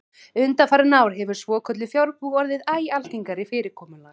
Undanfarin ár hefur svokölluð fjarbúð orðið æ algengara fyrirkomulag.